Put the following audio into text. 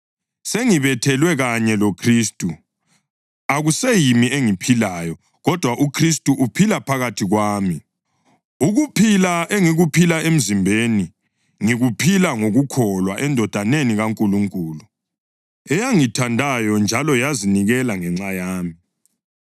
Sengibethelwe kanye loKhristu, akuseyimi engiphilayo, kodwa uKhristu uphila phakathi kwami. Ukuphila engikuphila emzimbeni, ngikuphila ngokukholwa eNdodaneni kaNkulunkulu, eyangithandayo njalo yazinikela ngenxa yami.